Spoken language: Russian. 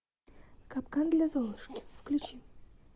капкан для золушки включи